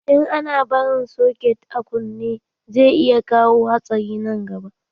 In ana barin soket a kunne, zai iya kawo hatsari nan gaba.